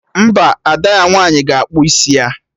Mba, Ada ya nwaanyị ga-akpụ isi ya